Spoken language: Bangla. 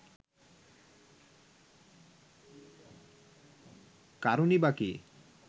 কারণই বা কি